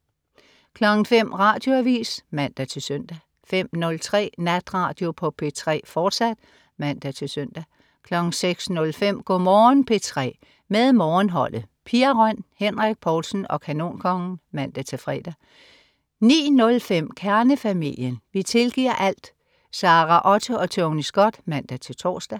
05.00 Radioavis (man-søn) 05.03 Natradio på P3, fortsat (man-søn) 06.05 Go' Morgen P3 med Morgenholdet. Pia Røn, Henrik Povlsen og Kanonkongen (man-fre) 09.05 Kernefamilien. Vi tilgiver alt! Sara Otte og Tony Scott (man-tors)